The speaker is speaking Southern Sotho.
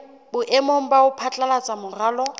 boemong ba ho phatlalatsa moralo